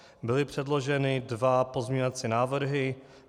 Byly předloženy dva pozměňovací návrhy.